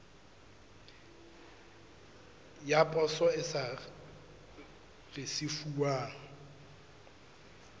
ya poso e sa risefuwang